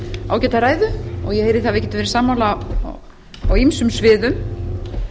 ágæta ræðu og ég heyri það að við getum verið sammála á ýmsum sviðum